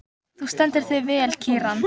Þú stendur þig vel, Kíran!